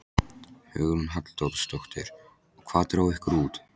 Hugrún Halldórsdóttir: Og hvað dró ykkur út?